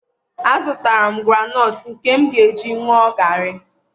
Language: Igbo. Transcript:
a zụtara m groundnut nke m ga-eji ṅụọ garri.